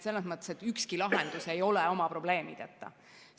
Ükski lahendus ei ole probleemideta.